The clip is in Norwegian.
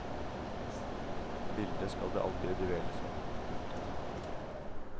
Bildet skal det aldri dveles ved. punktum